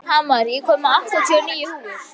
Hamar, ég kom með áttatíu og níu húfur!